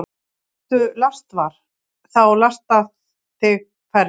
Vertu lastvar – þá lasta þig færri.